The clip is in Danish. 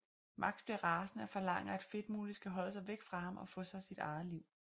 Max bliver rasende og forlanger at Fedtmule skal holde sig væk fra ham og få sig sit eget liv